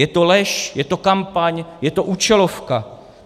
Je to lež, je to kampaň, je to účelovka.